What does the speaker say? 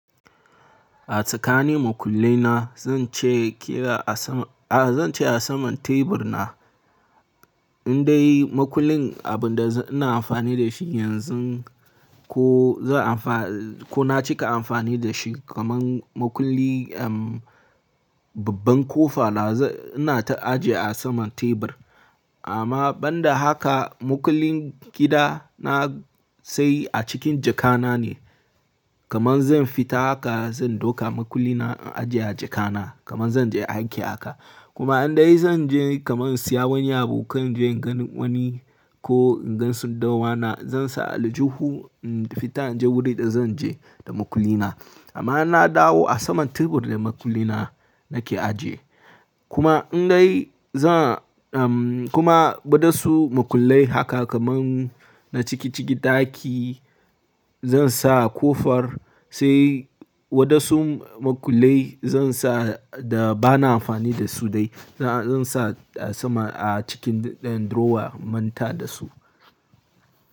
A tsakani makullai na zan ce ƙira a sama, a zan ce a saman tebur na. Indai makullin abun da ina amfani da shi yanzu ko zan amfa-- ko na cika amfani da shi kaman makulli, um, babban ƙofa da ina ta ajiye a saman tebur. Amma ban da haka, makullin gida na sai a cikin jaka na ne. Kaman zan fita haka zan dauka makulli na in ajiye a jaka na kaman zan je aiki haka. Kuma indai zan je kaman siya wani abu kan je inga wani ko in gan sandar wana, zan sa aljuhu in fita in je wuri da zan je da makulli na. Amma na dawo a saman tebur da makulli na nake ajiye. Kuma indai za, um, kuma waɗansu makullai haka kaman na ciki ciki ɗaki zan sa ƙofar sai waɗansu makullai zan sa da ba na amfani da su dai. Zan sa a sama a cikin ɗan drawer in manta da su.